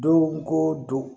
Don ko don